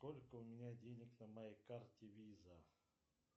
сколько у меня денег на моей карте виза